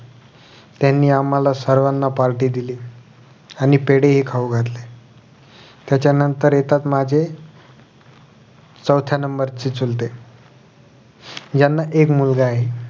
त्यांनी आम्हाला सर्वाना party दिली आणि पेढे हि खाऊ घातले त्याचं नंतर येतात माझे चौथ्या number चे चुलते यांना एक मुलगा आहे